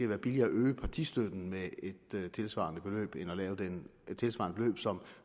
været billigere at øge partistøtten med et tilsvarende beløb som